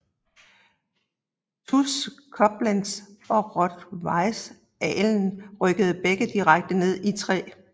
TuS Koblenz og Rot Weiss Ahlen rykkede begge direkte ned i 3